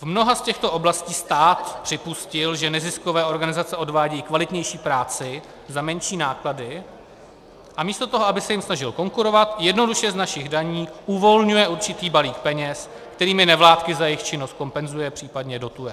V mnoha z těchto oblastí stát připustil, že neziskové organizace odvádějí kvalitnější práci za menší náklady, a místo toho, aby se jim snažil konkurovat, jednoduše z našich daní uvolňuje určitý balík peněz, kterými nevládky za jejich činnost kompenzuje, případně dotuje.